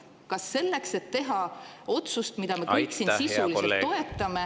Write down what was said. Kas selleks, et teha otsust, mida me kõik siin sisuliselt toetame …